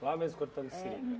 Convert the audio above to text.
Lá mesmo cortando seringa.